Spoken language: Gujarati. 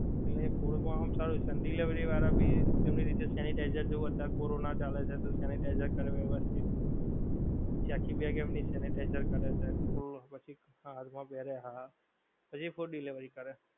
એટલે એ food માં આમ સારું છે અને delivery વાળા ભી એમની રીતે sanitizer જેવું અત્યારે corona ચાલે છે તો sanitizer કરે વ્યવસ્થિત, પછી આખી bag એમની sanitizer કરે છે પછી food પછી હાથ માં પેહેરે હા પછી food delivery કરે